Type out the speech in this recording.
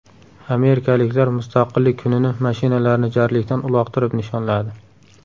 Amerikaliklar Mustaqillik kunini mashinalarni jarlikdan uloqtirib nishonladi .